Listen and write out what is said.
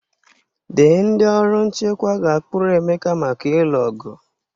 The ndị ọrụ nchekwa ga-akpụrụ Emeka maka ịlụ ọgụ.